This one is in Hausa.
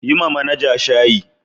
Yi ma manaja shaayi.